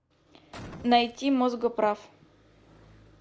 найти мозгоправ